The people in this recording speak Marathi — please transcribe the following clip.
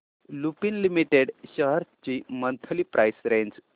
लुपिन लिमिटेड शेअर्स ची मंथली प्राइस रेंज